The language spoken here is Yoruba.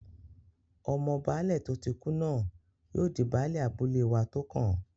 Ọmọ Baálẹ̀ tó tí kú náà yóò di Baálẹ̀ abúlé wa tó kàn